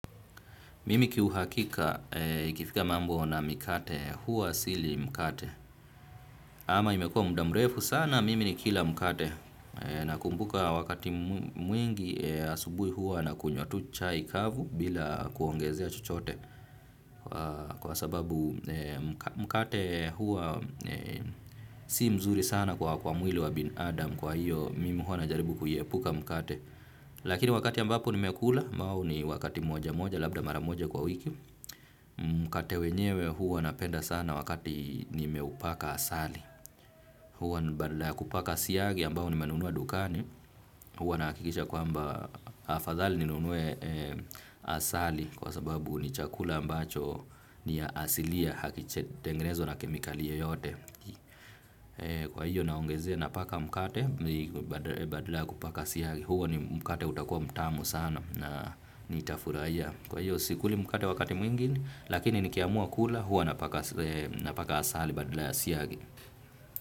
Mimi kiuhakika ikifika mambo na mikate huwa sili mkate. Ama imekuwa muda mrefu sana mimi nikila mkate nakumbuka wakati mwingi asubuhi huwa nakunywa tu chai kavu bila kuongezea chochote. Kwa sababu mkate huwa si mzuri sana kwa kwa mwili wa binadamu kwa hiyo mimi huwa najaribu kuiepuka mkate. Lakini wakati ambapo nimekula ambao ni wakati moja moja labda mara moja kwa wiki. Mkate wenyewe huwa napenda sana wakati nimeupaka asali. Huwa badala ya kupaka siagi ambayo nimenunua dukani. Huwa nahakikisha kwamba afadhali ninunue asali kwa sababu ni chakula ambacho ni ya asilia hakijatengenezwa na kemikali yoyote. Kwa hiyo naongezea napaka mkate badala ya kupaka siagi. Huo ni mkate utakuwa mtamu sana na nitafurahia. Kwa hiyo sikuli mkate wakati mwingi lakini nikiamua kula huwa napaka asali badala ya siagi.